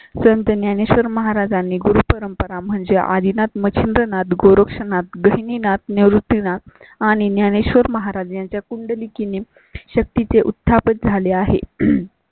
संत ज्ञानेश्वर महाराजांनी गुरु परंपरा म्हणजे आदिनाथ मच्छिंद्रनाथ, गोरक्षनाथ, गहिनीनाथ, निवृत्तीनाथ आणि ज्ञानेश्वर महाराज यांच्या कुंडली किनी शक्ती चे उत्थापन झाले आहे.